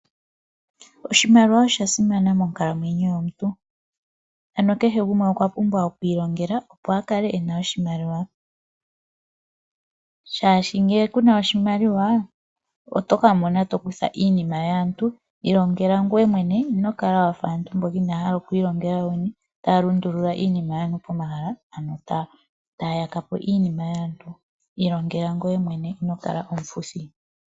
Oshimaliwa osha simana monkalamwenyo yomuntu. Ano kehe gumwe okwa pumbwa oku ilongela opo a kale ena oshimaliwa, oshoka ngele kuna oshimaliwa, oto ka mona to kutha iinima yaantu. Ilongela ngweye mwene , ino kala wafa aantu mboka inaya hala oku ilongela yoyene taya lundulula iinima yaantu pomahala , ano taya yaka po iinima yaantu. Ilongela ngweye mwene ino kala omufuthi.